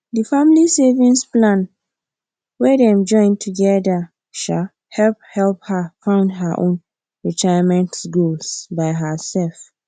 di family savings plan wey dem join together um help help her fund her own retirement goals by herself